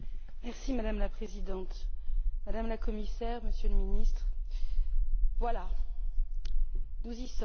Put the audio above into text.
Madame la Présidente, Madame la Commissaire, Monsieur le Ministre, voilà, nous y sommes.